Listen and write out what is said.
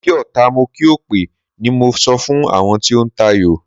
Mo kí ọta, mo kí òpè o, ni mo sọ fún àwọn tí ń tayò.